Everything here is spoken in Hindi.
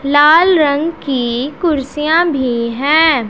लाल रंग की कुर्सियां भीं हैं।